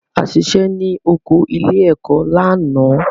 A ṣiṣẹ́ ní oko ilé-ẹ̀kọ́ lánàá.